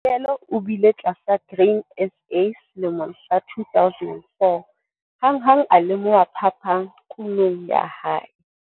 Mvikele o bile tlasa Grain SA selemong sa 2004. Hanghang a lemoha phapang kunong ya hae.